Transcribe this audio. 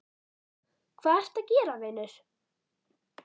hvað ertu að gera vinur????